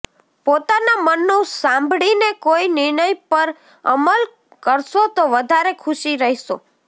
પોતાના મનનું સાંભળીને કોઈ નિર્ણય પર અમલ કરશો તો વધારે સુખી રહેશો